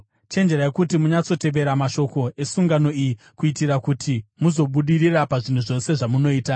Chenjerai kuti munyatsotevera mashoko esungano iyi kuitira kuti muzobudirira pazvinhu zvose zvamunoita.